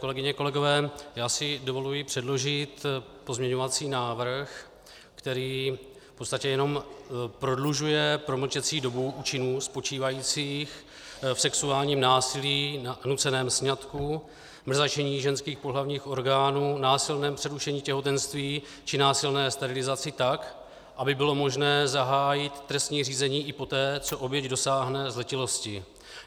Kolegyně, kolegové, já si dovoluji předložit pozměňovací návrh, který v podstatě jenom prodlužuje promlčecí dobu u činů spočívajících v sexuálním násilí, nuceném sňatku, mrzačení ženských pohlavních orgánů, násilném přerušení těhotenství či násilné sterilizaci tak, aby bylo možné zahájit trestní řízení i poté, co oběť dosáhne zletilosti.